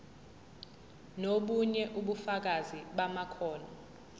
nobunye ubufakazi bamakhono